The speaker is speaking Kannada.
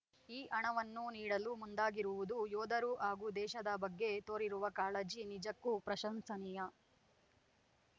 ಈ ಹಣವನ್ನು ನೀಡಲು ಮುಂದಾಗಿರುವುದು ಯೋಧರು ಹಾಗೂ ದೇಶದ ಬಗ್ಗೆ ತೋರಿರುವ ಕಾಳಜಿ ನಿಜಕ್ಕೂ ಪ್ರಶಂಸನೀಯ